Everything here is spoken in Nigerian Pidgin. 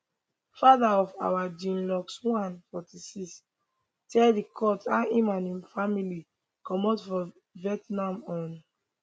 fatheroffour jeanluc l 46 tell di court how im and im family comot from vietnam on